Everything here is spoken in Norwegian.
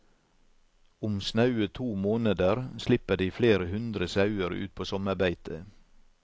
Om snaue to måneder slipper de flere hundre sauer ut på sommerbeite.